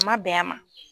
A ma bɛn a ma